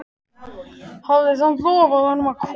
Hafði samt lofað honum að koma.